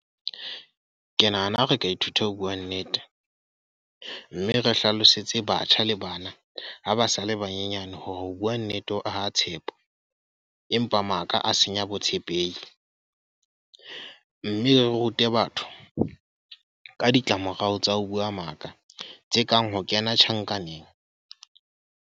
Ke nahana ha re ka ithuta ho bua nnete. Mme re hlalosetse batjha le bana, ha ba sa le banyenyane hore ho bua nnete ho aha tshepo. Empa maka a senya botshepehi. Mme re rute batho ka ditlamorao tsa ho bua maka, tse kang ho kena tjhankaneng.